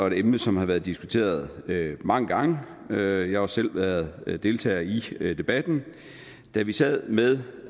et emne som har været diskuteret mange gange og jeg har også selv været deltager i debatten da vi sad med